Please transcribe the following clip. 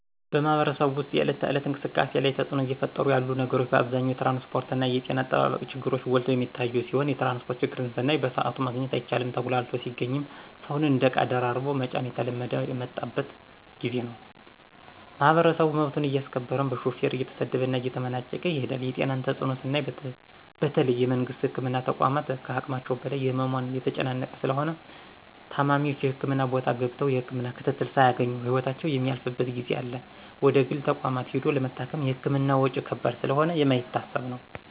በማህበረሰቡ ወስጥ የእለት ተእለት እንቅስቃሴ ላይ ተጽእኖ እየፈጠሩ ያሉ ነገሮች በአብዛኛው የትራንስጶርትና የጤና አጠባበቅ ችግሮች ጎልተው የሚታዮ ሲሆን የትራንስጶርት ችግርን ስናይ በስአቱ ማግኘት አይቻልም ተጉላልቶ ሲገኝም ሰውን እንደ እቃ ደራርቦ መጫን እየተለመደ የመጣበት ጊዜ ነው። ማህበረሰቡ መብቱን አያስከብርም በሹፌር እየተሰደበና እየተመናጨቀ ይሄዳል የጤናን ተጽእኖ ስናይ በተለይ የመንግስት የህክምና ተቋማት ከሀቅማቸው በላይ በህሙማን የተጨናነቁ ስለሆነ ታማሚዎች የህክምና ቦታ ገብተው የህክምና ክትትል ሳያገኙ ህይወታቸው የሚያልፍበት ጊዜ አለ ወደግል ተቋማት ሂዶ ለመታከም የህክምና ወጭ ከባድ ስለሆነ የማይታሰብ ነው።